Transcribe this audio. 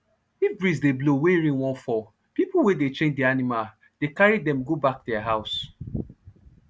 if breeze dey blow wey rain wan fall people wey dey train animal dey carry them go back thier house